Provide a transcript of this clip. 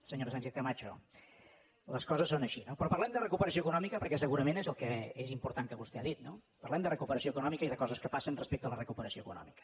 senyora sánchez camacho les coses són així no però parlem de recuperació econòmica perquè segurament és el que és important que vostè ha dit no parlem de recuperació econòmica i de coses que passen respecte a la recuperació econòmica